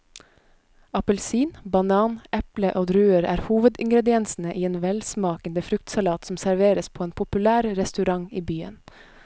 Appelsin, banan, eple og druer er hovedingredienser i en velsmakende fruktsalat som serveres på en populær restaurant i byen.